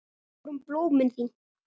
Við vorum blómin þín.